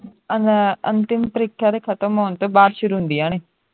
ਅਨਾ ਅੰਤਿਮ ਪਰੀਖਿਆ ਦੇ ਖਤਮ ਹੋਣ ਤੋਂ ਬਾਅਦ ਸ਼ੁਰੂ ਹੁੰਦੀਆਂ ਨੇ